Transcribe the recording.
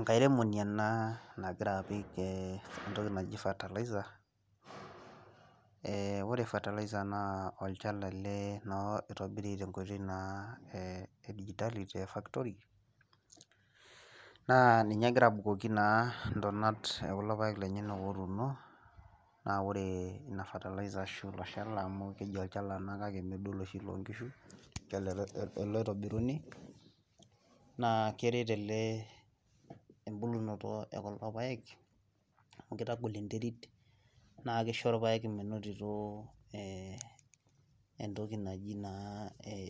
Enkairemoni ena nagira apik entoki naji fertilizer. ore fertilizer naa olchala ele oiribiri naa e digitality te factory naa ninye na egira abukoki ntonat ekulo paek lenyenak ootuno ,naa ore ina fertilizer ashu olchala amu keji olchala ena kake mooloshi loonkishu ele oitobiruni naa keret ele embulunoto ekulo paek amu kitagol enterit naa kisho irpaek menotito entoki naji naa